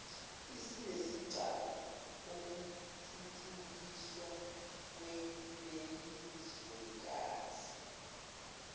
isinesigcawu okuthuthukiswa kwelelizwekazi